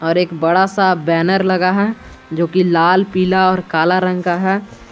और एक बड़ा सा बैनर लगा है जो की लाल पीला और काला रंग का है।